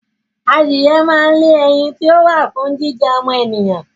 Adìyẹ máa ń lé ẹyin ti ó wà fún jíjẹ ọmọ ènìyàn